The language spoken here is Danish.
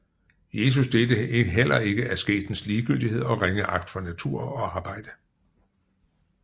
Jesus delte heller ikke asketens ligegyldighed og ringeagt for natur og arbejde